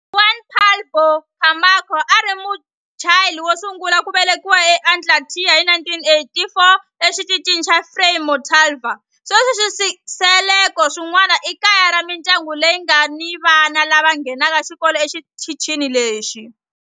Juan Pablo Camacho a a ri Muchile wo sungula ku velekiwa eAntarctica hi 1984 eXitichini xa Frei Montalva. Sweswi swisekelo swin'wana i kaya ra mindyangu leyi nga ni vana lava nghenaka xikolo exitichini lexi.